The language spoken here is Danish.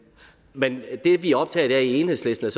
men det vi er optaget af i enhedslisten